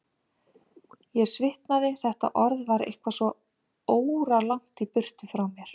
Ég svitnaði, þetta orð var eitthvað svo óralangt í burtu frá mér.